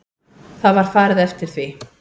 Það var farið eftir því.